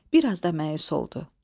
Bir az da məyus oldu.